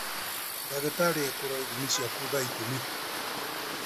Ndagĩtarĩ ekũrora ithimi ciaku thaa ikũmi